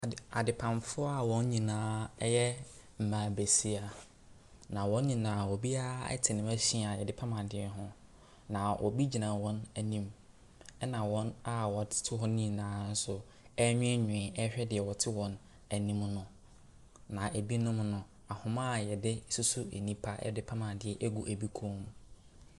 Adeoamfo a wɔn nyinaa yɛ mmaabasia. Na wɔn nyinaa biara te ne machine a yɛde pam adeɛ ho. Na obi gyina wɔn anim. Na wɔn a wɔtete hɔnom nyinaa nso ewinwin ɛrehwɛ deɛ ɔte wɔn anim no. Na ɛbinom no, ahoma yɛde susu nnipa yɛde pam adeɛ gu ɛbi kɔn mu.